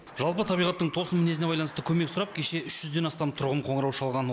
жалпы табиғаттың тосын мінезіне байланысты көмек сұрап кеше үш жүзден астам тұрғын қоңырау шалған